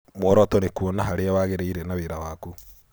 Mworoto nĩ kũona harĩa wagĩrĩire na wĩra waku.